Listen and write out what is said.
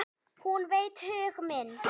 Hún veit hug minn.